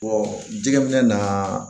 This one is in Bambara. jɛgɛ bɛna